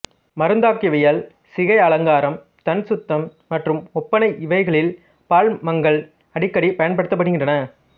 மருந்தாக்கவியல் சிகை அலங்காரம் தன் சுத்தம் மற்றும் ஒப்பனை இவைகளில் பால்மங்கல் அடிக்கடி பயன்படுத்தப்படுகின்றன